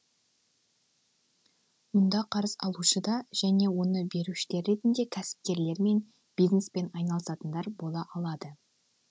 мұнда қарыз алушы да және оны берушілер ретінде кәсіпкерлер мен бизнеспен айналысатындар бола алады